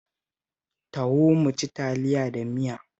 Taho mu ci Taliya da miya